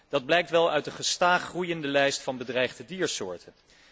Dat blijkt uit de gestaag groeiende lijst van bedreigde diersoorten.